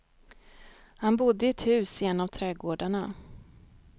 Han bodde i ett hus i en av trädgårdarna.